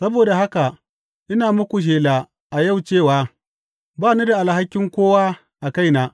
Saboda haka, ina muku shela a yau cewa ba ni da alhakin kowa a kaina.